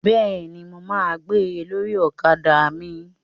Bẹ́ẹ̀ni, mo ma gbé ẹ lórí ọ̀kadà mi